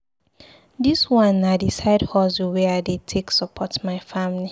Dis one na di side hustle wey I dey take support my family.